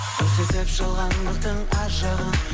көрсетіп жалғандықтың аз жағын